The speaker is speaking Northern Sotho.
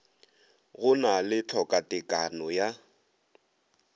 go na le tlhokatekano ya